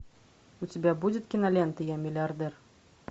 у тебя будет кинолента я миллиардер